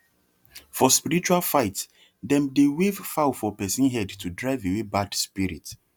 for spiritual fight dem dey wave fowl for person head to drive away bad spirit